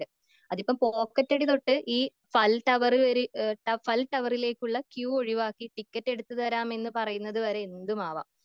അതിപ്പോ പോക്കറ്റടി തൊട്ട് ഈ ഫൽടൗർ കേറി, ഫൽടവറിലേക്കുള്ള ക്യു ഒഴുവാക്കി ടിക്കറ്റ് എടുത്ത് തേരാമെന്ന് പറയുന്നത് വരെ എന്തും ആവാം.